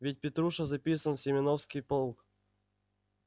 ведь петруша записан в семёновский полк